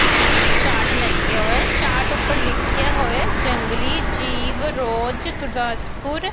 ਇੱਕ ਚਾਟ ਲੱਗਿਆ ਹੋਇਆ। ਚਾਟ ਉੱਪਰ ਲਿਖਿਆ ਹੋਇਆ ਜੰਗਲੀ ਜੀਵ ਰੋਜ਼ ਗੁਰਦਾਸਪੁਰ --